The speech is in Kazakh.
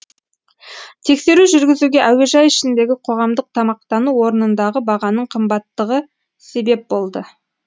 тексеру жүргізуге әуежай ішіндегі қоғамдық тамақтану орнындағы бағаның қымбаттығы себеп болды